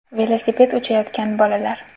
Velosiped uchayotgan bolalar.